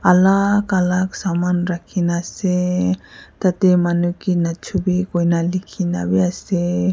alak alak saman rakhina ase tatae manu kae nachubi koina likhina bi ase.